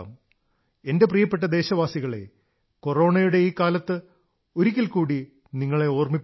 എന്റെ പ്രിയപ്പെട്ട ദേശവാസികളേ കൊറോണയുടെ ഈ കാലത്ത് ഒരിക്കൽ കൂടി നിങ്ങളെ ഓർമ്മിപ്പിക്കുന്നു